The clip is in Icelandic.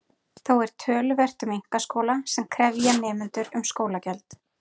Þó er töluvert um einkaskóla sem krefja nemendur um skólagjöld.